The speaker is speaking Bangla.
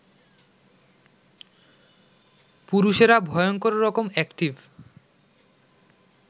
পুরুষেরা ভয়ংকররকম অ্যাকটিভ